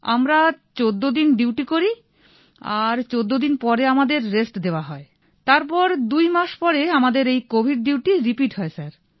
আমরা ১৪ দিন ডিউটি করি আর ১৪ দিন পরে আমাদের রেস্ট দেওয়া হয় তারপর দুই মাস পরে আমাদের এই কোভিড ডিউটি রিপিট হয় স্যার